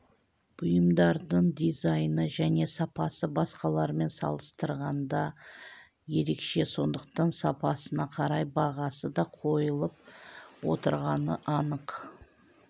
бұйымдардың дизайны және сапасы басқалармен салыстырғанда ерекше сондықтан сапасына қарай бағасы да қойылып отырғаны анық